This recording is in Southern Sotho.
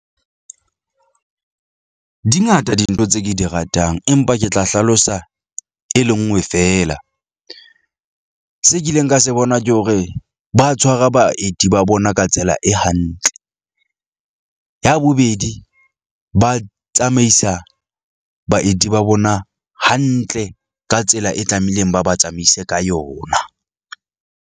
Di ngata dintho tse ke di ratang, empa ke tla hlalosa e le nngwe feela. Se kileng ka se bona ke hore ba tshwara baeti ba bona ka tsela e hantle. Ya bobedi, ba tsamaisa baeti ba bona hantle ka tsela e tlameileng, ba ba tsamaise ka yona.